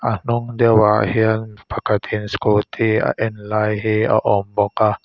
a hnung deuh ah hian pakhat in scooty a en lai hi a awm bawk a.